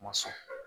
Ma sɔn